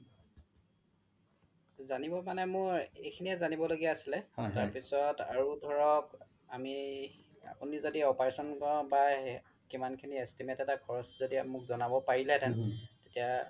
জানিব মানে মই এইখিনিয়ে জানিব লগিয়া আছিলে তাৰ পিছ্ত আৰু ধৰক আমি য্দি operation কিমান খিনি estimate এটা খৰচ য্দি আপোনি মোক জনাব পাৰিলে হেতেন তেতিয়া